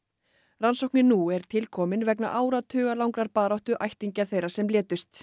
rannsóknin nú er tilkomin vegna áratugalangrar baráttu ættingja þeirra sem létust